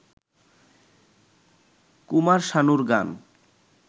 কুমার শানুর গান